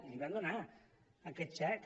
i l’hi van donar aquest xec